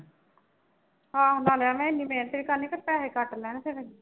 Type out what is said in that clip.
ਆਹੋ ਨਾਲੇ ਐਵੇ ਐਨੀ ਮਿਹਨਤ ਵੀ ਕਰਨੀ ਤੇ ਪੈਹੇ ਘੱਟ ਲੈਣੇ ਤੇਰੇ।